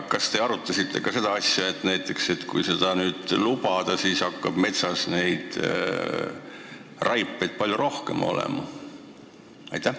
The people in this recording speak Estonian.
Kas te arutasite ka seda asja, et kui seda lubada, siis hakkab metsas palju rohkem raipeid olema?